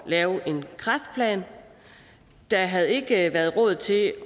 lave en kræftplan der havde ikke været råd til